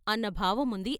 ' అన్న భావం ఉంది.